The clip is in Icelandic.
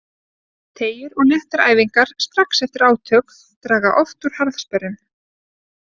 Teygjur og léttar æfingar strax eftir átök draga oft úr harðsperrum.